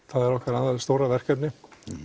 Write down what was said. það er okkar stóra verkefni